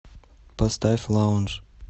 поставь лаундж